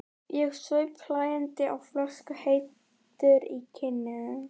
Ég saup hlæjandi á flöskunni, heitur í kinnum.